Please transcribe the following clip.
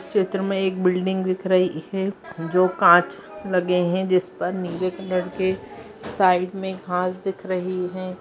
इस चित्र में एक बिल्डिंग दिख रही है जो कांच लगे है जिस पर नीले कलर के साइड में घास दिख रही है।